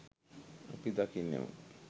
අපි දකින්නෙමු.